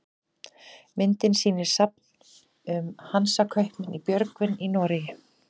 myndin sýnir safn um hansakaupmenn í björgvin í noregi